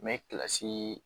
Mɛ kilasi